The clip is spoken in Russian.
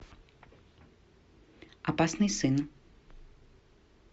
опасный сын